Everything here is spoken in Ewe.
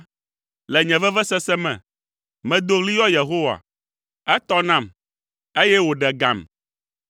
Le nye vevesese me, medo ɣli yɔ Yehowa, etɔ nam, eye wòɖe gam.